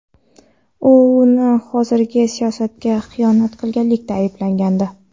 uni hozirgi siyosatga xiyonat qilganlikda ayblagandi.